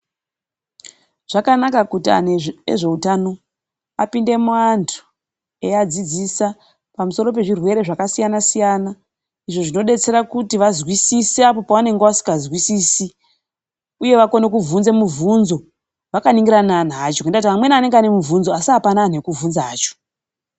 Zvakanaka kuti andu ezvehutano apinde muantu eiadzidzisa pamusoro pezvirwere zvakasiyana siyana. Izvo zvinodetsera kuti vazwisise apo pavanenge asikazwisisi uye vakone kuvhunza muvhunze vakaningirana nevantu vacho. Ngendaa yekuti amweni anenge aine muvhunzo asi apana anthu ekuvhunza acho.